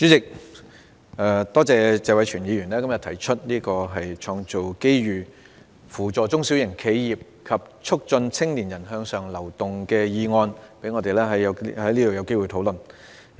主席，多謝謝偉銓議員今天動議"創造機遇扶助中小型企業及促進青年人向上流動"的議案，讓我們有機會在這裏討論。